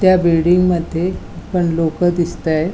त्या बिल्डिंगमध्ये पण लोक दिसतायेत.